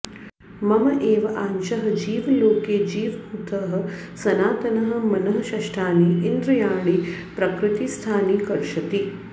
मम एव आंशः जीवलोके जीवभूतः सनातनः मनःषष्ठानि इन्द्रियाणि प्रकृतिस्थानि कर्षति